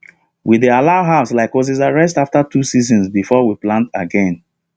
we dey allow herbs like uziza rest after two seasons before we plant again